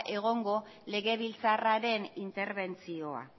egongo legebiltzarraren interbentzioa